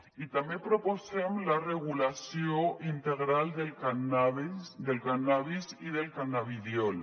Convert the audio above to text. i també proposem la regulació integral del cànnabis i del cannabidiol